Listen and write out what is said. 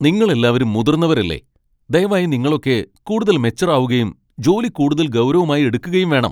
നിങ്ങളെല്ലാവരും മുതിർന്നവരല്ലേ! ദയവായി നിങ്ങളൊക്കെ കൂടുതൽ മെച്വർ ആവുകയും ജോലി കൂടുതൽ ഗൗരവമായി എടുക്കുകയും വേണം .